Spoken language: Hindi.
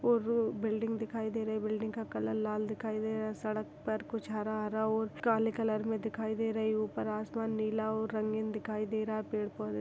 -- और बिल्डिंग दिखाई दे रही है बिल्डिंग का कलर लाल दिखाई दे रहा है सड़क पर कुछ हरा हरा और काले कलर में दिखाई दे रही है उपर आसमान नीला और रंगीन दिखाई दे रहा हे पेड़ पौधे --